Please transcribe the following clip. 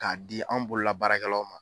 K'a di an bolola baarakɛlaw ma